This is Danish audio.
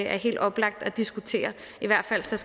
er helt oplagt at diskutere i hvert fald skal